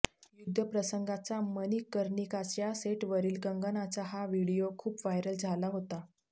युद्धप्रसंगाचा मणिकर्णिकाच्या सेटवरील कंगनाचा हा व्हिडीओ खूप व्हायरल झाला होता